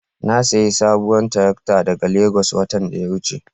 Na sayi sabuwar tarakta daga Legas watan da ya wuce.